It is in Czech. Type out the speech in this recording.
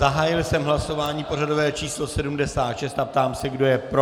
Zahájil jsem hlasování pořadové číslo 76 a ptám se, kdo je pro.